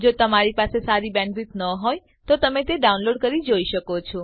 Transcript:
જો તમારી બેન્ડવિડ્થ સારી ન હોય તો તમે ડાઉનલોડ કરી તે જોઈ શકો છો